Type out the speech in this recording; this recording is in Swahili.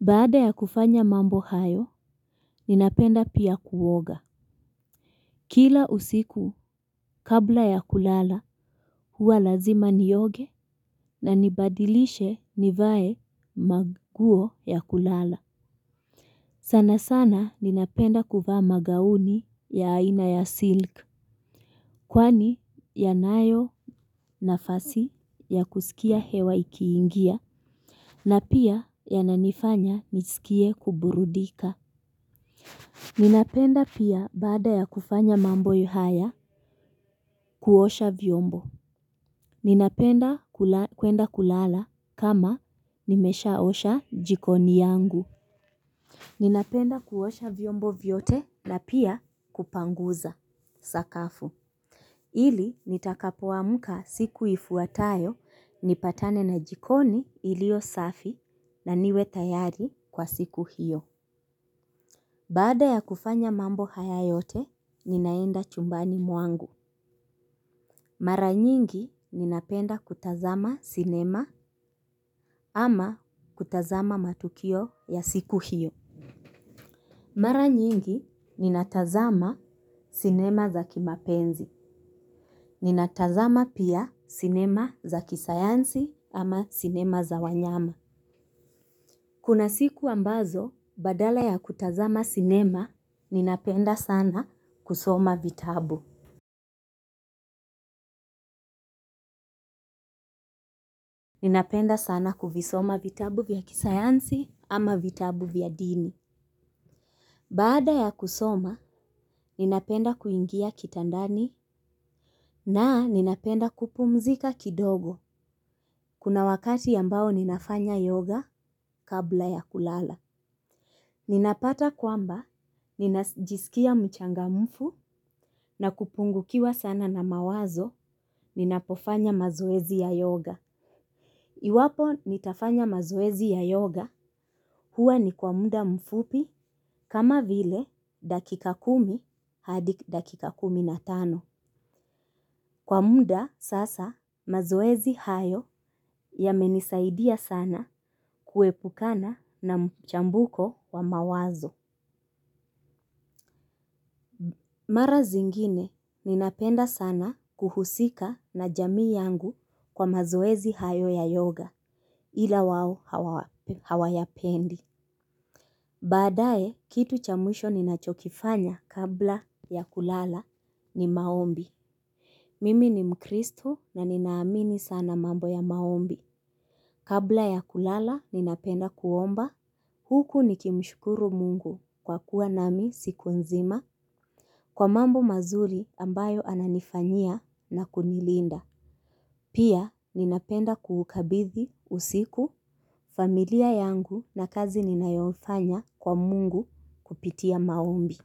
Baada ya kufanya mambo hayo, ninapenda pia kuoga. Kila usiku kabla ya kulala, huwa lazima nioge na nibadilishe nivae manguo ya kulala. Sana sana ninapenda kuvaa magauni ya aina ya silk. Kwani yanayo nafasi ya kusikia hewa ikiingia na pia yananifanya nisikie kuburudika. Ninapenda pia baada ya kufanya mambo haya kuosha vyombo. Ninapenda kwenda kulala kama nimeshaosha jikoni yangu. Ninapenda kuosha vyombo vyote na pia kupanguza sakafu. Ili nitakapoamuka siku ifuatayo, nipatane na jikoni iliyo safi na niwe tayari kwa siku hiyo. Baada ya kufanya mambo haya yote, ninaenda chumbani mwangu. Mara nyingi ninapenda kutazama sinema ama kutazama matukio ya siku hiyo. Mara nyingi, ninatazama sinema za kimapenzi. Ninatazama pia sinema za kisayansi ama sinema za wanyama. Kuna siku ambazo, badala ya kutazama sinema, ninapenda sana kusoma vitabu. Ninapenda sana kuvisoma vitabu vya kisayansi ama vitabu vya dini. Baada ya kusoma ninapenda kuingia kitamdani na ninapemda kuoumzika kidogo kuna wakati ambao ninafanya yoga kabla ya kulala. Ninapata kwamba, ninajisikia mchangamfu na kupungukiwa sana na mawazo ninapofanya mazoezi ya yoga. Iwapo nitafanya mazoezi ya yoga huwa ni kwa muda mfupi kama vile dakika kumi hadi dakika kumi na tano. Kwa muda sasa mazoezi hayo yamenisaidia sana kuepukana na mchambuko wa mawazo. Mara zingine ninapenda sana kuhusika na jamii yangu kwa mazoezi hayo ya yoga ila wao hawayapendi. Badaye kitu cha mwisho ninachokifanya kabla ya kulala ni maombi. Mimi ni mkristo na ninaamini sana mambo ya maombi. Kabla ya kulala, ninapenda kuomba. Huku nikimshukuru mungu kwa kuwa nami siku nzima. Kwa mambo mazuri ambayo ananifanyia na kunilinda. Pia, ninapenda kuhukabithi, usiku, familia yangu na kazi ninayofanya kwa mungu kupitia maombi.